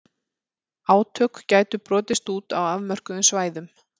Átök gætu brotist út á afmörkuðum svæðum.